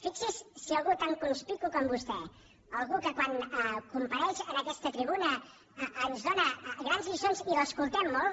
fixi s’hi si algú tan conspicu com vostè algú que quan compareix en aquesta tribuna ens dóna grans lliçons i l’escoltem molt